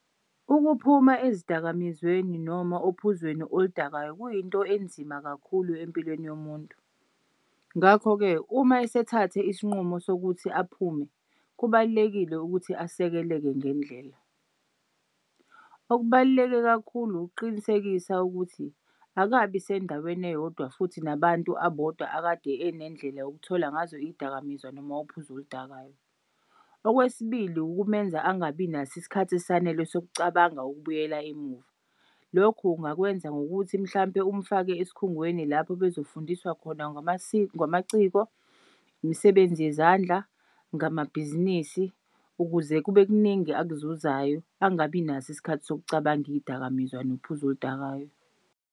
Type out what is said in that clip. Ukuphuma ezidakamizweni noma ophuzweni oludakayo kuyinto enzima kakhulu empilweni yomuntu, ngakho-ke uma esethathe isinqumo sokuthi aphume, kubalulekile ukuthi asekeleke ngendlela. Okubaluleke kakhulu ukuqinisekisa ukuthi akabi sendaweni eyodwa futhi nabantu abodwa akade enendlela yokuthola ngazo izidakamizwa noma uphuzo oludakayo. Okwesibili, ukumenza angabi nas'isikhathi esanele sokucabanga ukubuyela emuva. Lokhu ungakwenza ngokuthi mhlampe umfake esikhungweni lapho bezofundiswa khona ngamaciko, imisebenzi yezandla ngamabhizinisi ukuze kube kuningi akuzuzayo angabi naso isikhathi sokucabanga iy'dakamizwa nophuzo oludakayo.